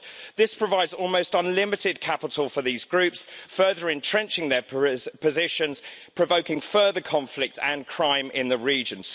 This provides almost unlimited capital for these groups, further entrenching their positions, provoking further conflict and crime in the region.